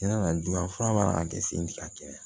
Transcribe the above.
fura mana kɛ sen ten ka kɛnɛya